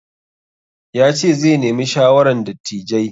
Ya ce zai nemi shawaran dattijai.